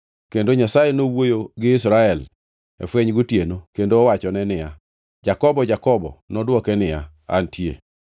Kendo Nyasaye nowuoyogi Israel e fweny gotieno kendo owachone niya, “Jakobo! Jakobo!” Nodwoke niya, “Antie.”